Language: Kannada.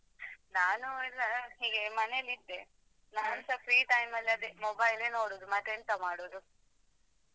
ನಾನು ಎಲ್ಲಾ ಹೀಗೆ ಮನೆಯಲ್ಲಿದೆ ನಾನ್ಸ free time ಮಲ್ಲಿ ಅದೇ mobile ಲೇ ನೋಡುದು ಮತ್ತೆ ಎಂತ ಮಾಡುದು.